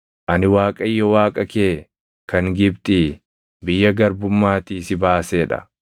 “Ani Waaqayyo Waaqa kee kan Gibxii, biyya garbummaatii si baasee dha.